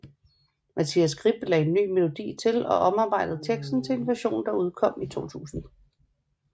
Mathias Grip lagde ny melodi til og omarbejdet teksten til en version der udkom i 2000